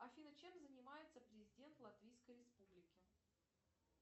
афина чем занимается президент латвийской республики